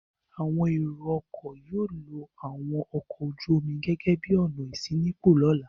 Àwọn ẹ̀rọ-ọkọ̀ yóò lo àwọn ọkọ̀ ojú-omi gẹ́gẹ́ bí ọ̀nà ìṣínípò lọ́la.